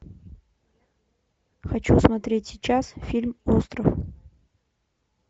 хочу смотреть сейчас фильм остров